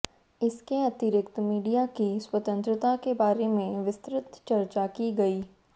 इसके अतिरिक्त मीडिया की स्वतंत्रता के बारे विस्तृत चर्चा की गई